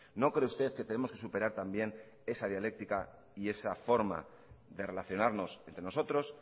no cree usted que tenemos que superar también esa dialéctica y esa forma de relacionarnos entre nosotros